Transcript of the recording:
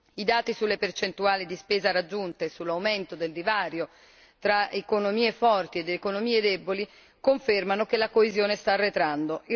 I dati sulle percentuali di spesa raggiunte, sull'aumento del divario tra economie forti ed economie deboli, confermano che la coesione sta arretrando.